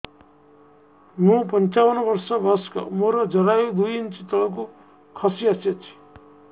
ମୁଁ ପଞ୍ଚାବନ ବର୍ଷ ବୟସ ମୋର ଜରାୟୁ ଦୁଇ ଇଞ୍ଚ ତଳକୁ ଖସି ଆସିଛି